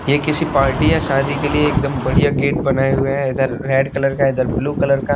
ये किसी पार्टी या शादी के लिए एकदम बढ़िया गेट बनाए हुए हैं इधर रेड कलर का इधर ब्लू कलर का--